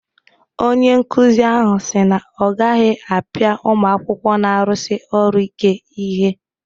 Onye nkuzi ahụ si na ọ agaghị apịa ụmụ akwụkwọ na-arụsi ọrụ ike ihe.